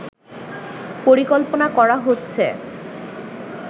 পরিকল্পনা করা হচ্ছে